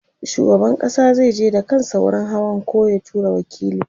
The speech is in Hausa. shugaban ƙasa zai je da kansa wurin hawan koh ya tura waƙili